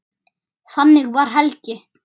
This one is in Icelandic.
Þannig var Helgi.